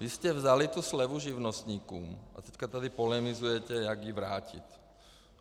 Vy jste vzali tu slevu živnostníkům a teď tady polemizujete, jak ji vrátit.